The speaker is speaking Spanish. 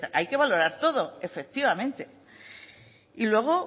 hay que valorar todo efectivamente y luego